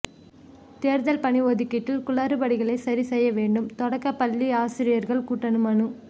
தேர்தல் பணி ஒதுக்கீட்டில் குளறுபடிகளை சரி செய்ய வேண்டும் தொடக்கப்பள்ளி ஆசிரியர் கூட்டணி மனு